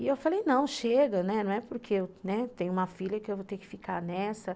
E eu falei, não, chega, né, não é porque eu tenho uma filha que eu vou ter que ficar nessa.